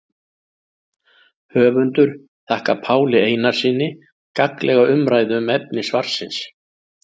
Höfundur þakkar Páli Einarssyni gagnlega umræðu um efni svarsins.